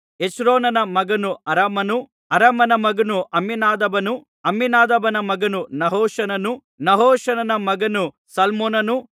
ಹೆಚ್ರೋನನ ಮಗನು ಅರಾಮನು ಅರಾಮನ ಮಗನು ಅಮ್ಮಿನಾದಾಬನು ಅಮ್ಮಿನಾದಾಬನ ಮಗನು ನಹಶೋನನು ನಹಶೋನನ ಮಗನು ಸಲ್ಮೋನನು